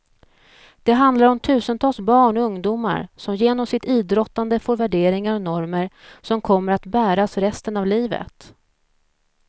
Det handlar om tusentals barn och ungdomar som genom sitt idrottande får värderingar och normer som kommer att bäras resten av livet.